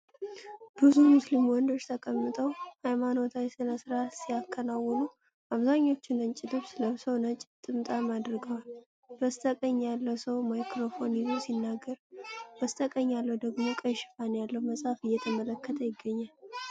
ብዙ ሙስሊም ወንዶች ተቀምጠው ሃይማኖታዊ ሥነ ሥርዓት ሲያከናውኑ። አብዛኞቹ ነጭ ልብስ ለብሰው ነጭ ጥምጣም አድርገዋል። በስተቀኝ ያለው ሰው ማይክሮፎን ይዞ ሲናገር፣ በስተግራ ያለው ደግሞ ቀይ ሽፋን ያለውን መጽሐፍ እየተመለከተ ይገኛል።